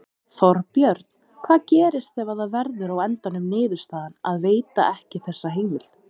Þorbjörn: Hvað gerist ef að það verður á endanum niðurstaðan að veita ekki þessa heimild?